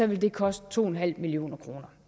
vil det koste to en halv million kroner